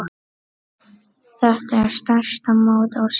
Þetta er stærsta mót ársins.